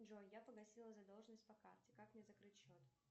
джой я погасила задолженность по карте как мне закрыть счет